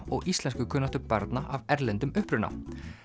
og íslenskukunnáttu barna af erlendum uppruna